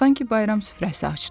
Sanki bayram süfrəsi açdı.